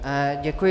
Děkuji.